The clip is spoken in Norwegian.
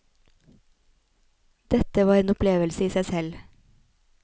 Dette var en opplevelse i seg selv.